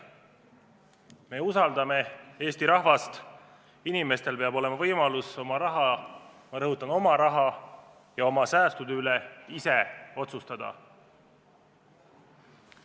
Me usaldame Eesti rahvast, inimestel peab olema võimalus oma raha ja oma säästude üle ise otsustada.